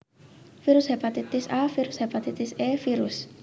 Virus Hepatitis A Virus Hepatitis E Virus